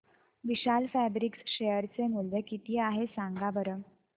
विशाल fabrics share चे मूल्य किती आहे सांगा बरं